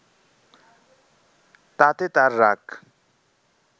তাতে তার রাগ